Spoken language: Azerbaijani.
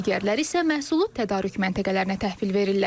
Digərləri isə məhsulu tədarük məntəqələrinə təhvil verirlər.